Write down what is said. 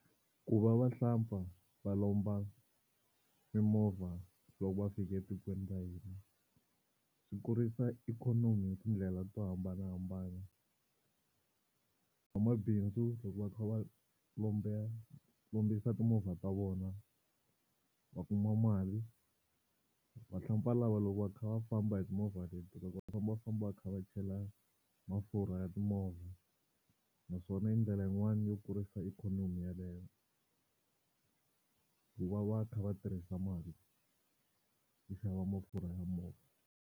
Ku va vahlampfa va lomba mimovha loko va fika etikweni ra hina swi kurisa ikhonomi hi tindlela to hambanahambana n'wamabindzu loko va kha va lombe, lombisa timovha ta vona va kuma mali. Vahlampfa lava loko va kha va famba hi timovha leti loko va famba va famba va kha va chela mafurha ya timovha naswona i ndlela yin'wani yo kurisa ikhonomi yaleyo ku va va kha va tirhisa mali yo xava mafurha ya movha.